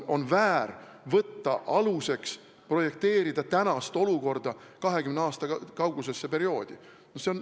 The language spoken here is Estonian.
On väär võtta aluseks tänane olukord ja projekteerida see 20 aasta kaugusesse perioodi.